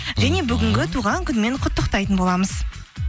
және бүгінгі туған күнімен құттықтайтын боламыз